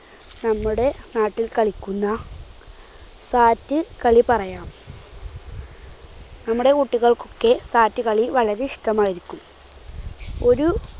നമ്മുടെ നാട്ടിൽ കളിക്കുന്ന sat കളി പറയാം. നമ്മുടെ കുട്ടികൾക്കൊക്കെ sat കളി വളരെ ഇഷ്ടമായിരിക്കും. ഒരു